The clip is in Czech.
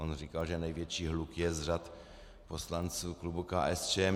On říkal, že největší hluk je z řad poslanců klubu KSČM.